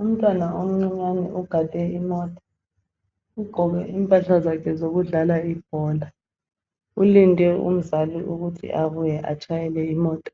Umntwana omncinyane ogade imota. Ugqoke impahla zakhe zokudlala ibhola .Ulinde umzali ukuthi abuye atshayele imota